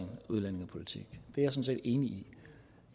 egentlig